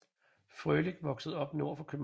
Frøhlich voksede op nord for København